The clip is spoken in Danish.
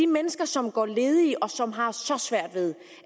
mennesker som går ledige og som har så svært ved